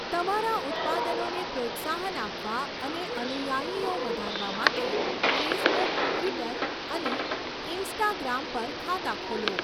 તમારા ઉત્પાદનોને પ્રોત્સાહન આપવા અને અનુયાયીઓ વધારવા માટે ફેસબુક, ટ્વિટર અને ઇન્સ્ટાગ્રામ પર ખાતા ખોલો.